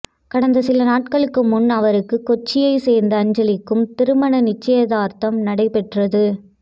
கடந்த சில நாட்களுக்கு முன் அவருக்கு கொச்சியை சேர்ந்த அஞ்சலிக்கும் திருமண நிச்சயதார்த்தம் நடைபெற்றது